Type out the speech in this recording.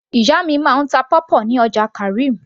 ìyá mi máa ń ta pawpaw ní ọjà karim